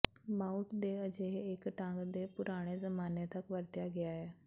mount ਦੇ ਅਜਿਹੇ ਇੱਕ ਢੰਗ ਹੈ ਪੁਰਾਣੇ ਜ਼ਮਾਨੇ ਤੱਕ ਵਰਤਿਆ ਗਿਆ ਹੈ